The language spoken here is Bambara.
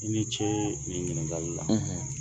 I ni ce nin ɲininkali la